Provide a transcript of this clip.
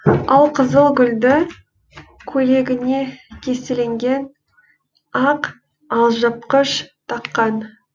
алқызыл гүлді көйлегіне кестеленген ақ алжыпқыш таққан